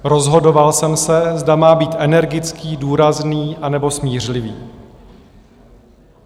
Rozhodoval jsem se, zda má být energický, důrazný, anebo smířlivý.